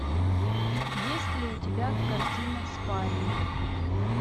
есть ли у тебя картина спарринг